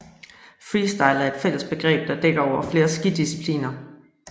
Freestyle er et fælles begreb der dækker over flere skidiscipliner